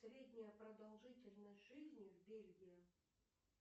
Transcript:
средняя продолжительность жизни в бельгии